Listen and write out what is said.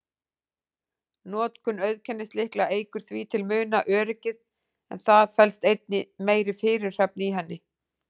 Notkun auðkennislykla eykur því til muna öryggið, en það felst einnig meiri fyrirhöfn í henni.